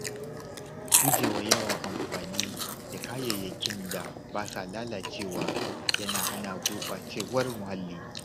Gujewa yawan amfani da kayayyakin da ba sa lalacewa yana hana gurɓacewar muhalli.